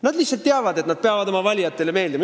Nad lihtsalt teavad, et nad peavad oma valijatele meeldima.